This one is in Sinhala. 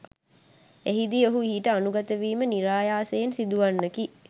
එහිදී ඔහු ඊට අනුගතවීම නිරායාසයෙන් සිදුවන්නකි